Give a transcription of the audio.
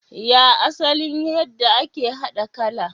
Ya asalin yadda ake haɗa kala?